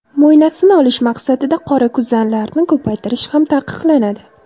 Mo‘ynasini olish maqsadida qorakuzanlarni ko‘paytirish ham taqiqlanadi.